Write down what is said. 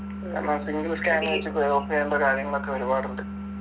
നമ്മ എപ്പെങ്കിലും scanner വച്ച് pay off എയ്യണ്ട കാര്യങ്ങളൊക്കെ ഒരുപാടുണ്ട്